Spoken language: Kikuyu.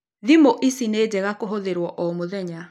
Thimu ici nĩ njega kũhũthĩrũo o mũthenya.